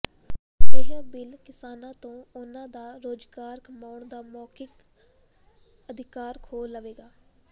ਇਹ ਬਿਲ ਕਿਸਾਨਾਂ ਤੋਂ ਉਹਨਾਂ ਦਾ ਰੁਜ਼ਗਾਰ ਕਮਾਉਣ ਦਾ ਮੌਲਿਕ ਅਧਿਕਾਰ ਖੋਹ ਲਵੇਗਾ